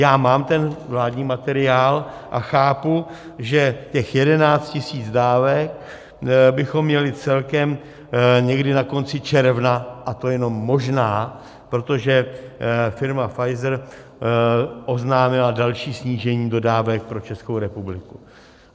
Já mám ten vládní materiál a chápu, že těch 11 000 dávek bychom měli celkem někdy na konci června, a to jenom možná, protože firma Pfizer oznámila další snížení dodávek pro Českou republiku.